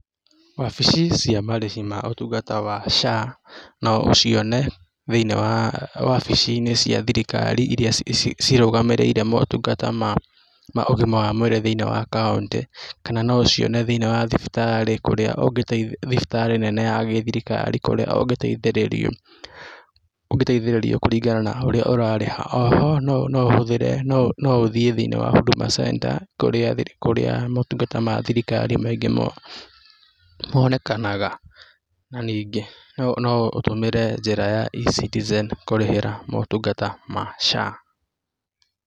Wabici cia marĩhi ma ũtungata wa SHA no ũcione thĩinĩ wa wabici-inĩ cia thirikari iria cirũgamĩrĩire motungata ma ũgima wa mwĩrĩ thĩinĩ wa kaũntĩ, kana no ũcione thĩinĩ wa thibitarĩ kũrĩa, thibitarĩ nene ya gĩ-thirikari kũrĩa ũngĩteithĩrĩrio ũngĩteithĩrĩrio kũringana na ũrĩa ũrarĩha. O ho, no ũhũthĩre no ũthiĩ thĩinĩ wa Huduma Centre kurĩa, kũrĩa motungata ma thirikari maingĩ monekanaga na ningĩ no ũtũmĩre njĩra ya e-citizen kũrĩhĩra motungata ma SHA.